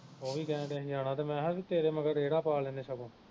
ਉਹ ਵੀ ਕਹਿਣ ਦਿਆਂ ਜਾਣਾ ਮੈਂ ਹਾਂ ਤੇਰੇ ਮਗਰ ਰੇੜਾ ਪਾ ਲੈਣੇ ਸਗੋਂ